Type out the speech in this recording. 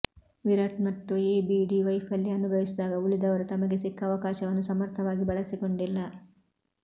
ವಿರಾಟ್ ಮತ್ತು ಎಬಿಡಿ ವೈಫಲ್ಯ ಅನುಭವಿಸಿದಾಗ ಉಳಿದವರು ತಮಗೆ ಸಿಕ್ಕ ಅವಕಾಶವನ್ನು ಸಮರ್ಥವಾಗಿ ಬಳಸಿಕೊಂಡಿಲ್ಲ